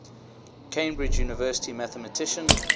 cambridge university mathematician